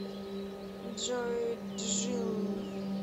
джой джилл